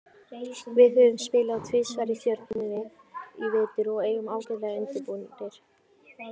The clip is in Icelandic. Við höfum spilað tvisvar við Stjörnuna í vetur og erum ágætlega undirbúnir.